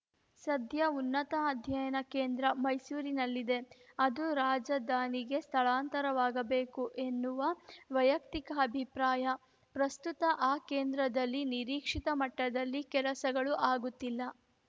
ಸದ್ಯ ಉನ್ನತ ಅಧ್ಯಯನ ಕೇಂದ್ರ ಮೈಸೂರಿನಲ್ಲಿದೆ ಅದು ರಾಜಧಾನಿಗೆ ಸ್ಥಳಾಂತರವಾಗಬೇಕು ಎನ್ನುವು ವೈಯಕ್ತಿಕ ಅಭಿಪ್ರಾಯ ಪ್ರಸ್ತುತ ಆ ಕೇಂದ್ರದಲ್ಲಿ ನಿರೀಕ್ಷಿತ ಮಟ್ಟದಲ್ಲಿ ಕೆಲಸಗಳು ಆಗುತ್ತಿಲ್ಲ